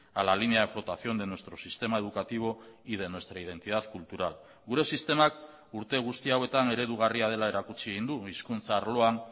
a la línea de flotación de nuestro sistema educativo y de nuestra identidad cultural gure sistemak urte guzti hauetan eredugarria dela erakutsi egin du hizkuntza arloan